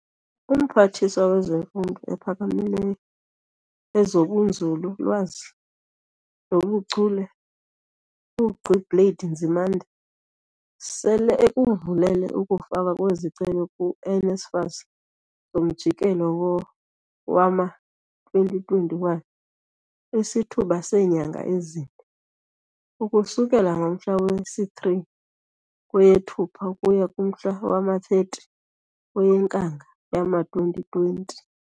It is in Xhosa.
UMphathiswa wezeMfundo ePhakamileyo, ezobuNzulu-lwazi nobu Chule, uGqi Blade Nzi mande, sele ekuvulele ukufakwa kwezicelo ku-NSFAS zomjikelo wowama-2021 isithuba seenyanga ezine, ukusukela ngomhla wesi-3 kweyeThupha ukuya kumhla wama-30 kweyeNkanga yowama-2020.